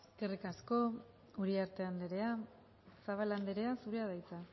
eskerrik asko uriarte andrea zabala andrea zurea da hitza